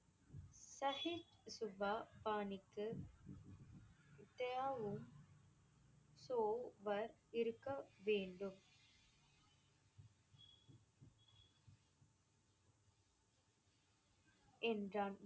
பாணிக்கு இருக்க வேண்டும் என்றான்.